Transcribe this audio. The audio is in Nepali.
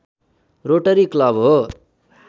रोटरी क्लब हो